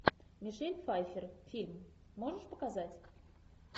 мишель пфайффер фильм можешь показать